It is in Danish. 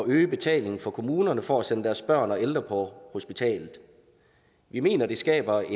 øge betalingen for kommunerne for at sende deres børn og ældre på hospitalet vi mener det skaber